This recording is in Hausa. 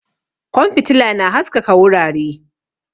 Kwan fitila na haskaka wurare